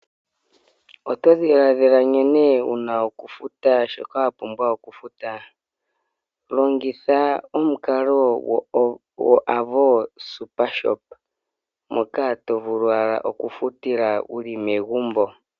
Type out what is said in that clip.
Oto dhiladhila nkene wuna okufuta shoka wapumbwa okufuta, longitha omukalo gwoAvo SuperShop moka tovulu ala okufutila wuli megumbo.